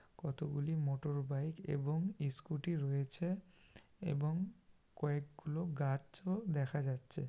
কতগুলি মোটরবাইক এবং ইস্কুটি রয়েছে এবং কয়েকগুলো গাছও দেখা যাচ্ছে।